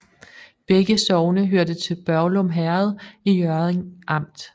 Begge sogne hørte til Børglum Herred i Hjørring Amt